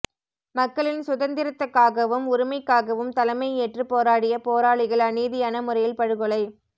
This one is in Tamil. மக்களின் சுதந்திரத்துக்காகவும் உரிமைக்காகவும் தலைமையேற்றுப் போராடிய போரளிகள் அநீதியான முறையில் படுகொலை